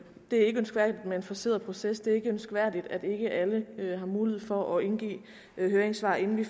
er ønskværdigt med en forceret proces det er ikke ønskværdigt at ikke alle har mulighed for at indgive høringssvar inden vi